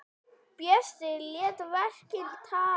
Bjössi lét verkin tala.